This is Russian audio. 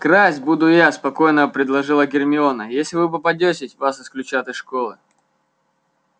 красть буду я спокойно предложила гермиона если вы попадётесь вас исключат из школы